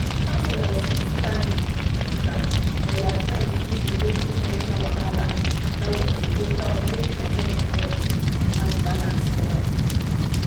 counselors fit stand gidigba for their friends wey dey go through mental wahala na wetin go help make their head correct and mind balance well.